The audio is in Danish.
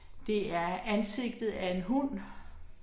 Det er ansigtet af en hund